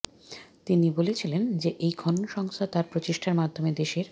তিনি বলেছিলেন যে এই খনন সংস্থা তার প্রচেষ্টার মাধ্যমে দেশের